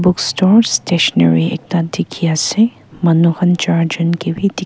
books stores stationary ekta dikhi ase manu khan char jun ke bi dik--